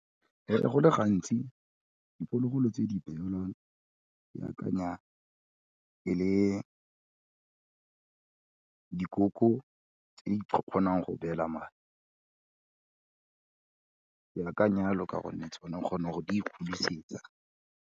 Ee go le gantsi, diphologolo tse di beolwang ke akanya e le dikoko tse di kgonang go beela mae ke akanya yalo ka gore tsone o kgona go di ikgodisetsa.